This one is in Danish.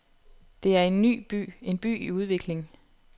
Det er en ny by, en by i udvikling.